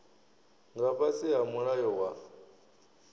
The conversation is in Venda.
nga fhasi ha mulayo wa